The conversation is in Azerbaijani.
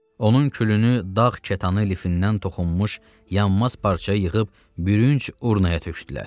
Onun külünü dağ kətanı lifindən toxunmuş yanmaz parçaya yığıb, bürünc urnaya tökdülər.